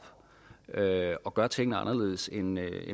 og gør tingene anderledes end